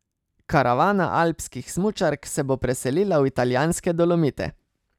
Karavana alpskih smučark se bo preselila v italijanske Dolomite.